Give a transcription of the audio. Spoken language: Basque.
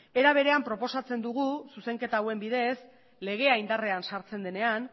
era berean proposatzen dugu zuzenketa hauen bidez legea indarrean sartzen denean